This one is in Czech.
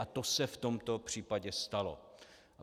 A to se v tom případě stalo.